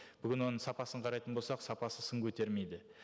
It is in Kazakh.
бүгін оның сапасын қарайтын болсақ сапасы сын көтермейді